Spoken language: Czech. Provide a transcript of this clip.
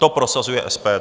To prosazuje SPD.